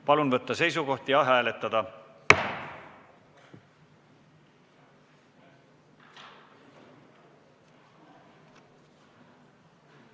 Palun võtta seisukoht ja hääletada!